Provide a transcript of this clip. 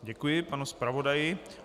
Děkuji panu zpravodaji.